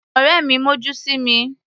Ọ̀rẹ́ mi mọ́jú sí mi.